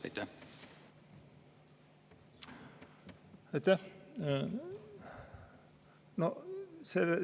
Aitäh!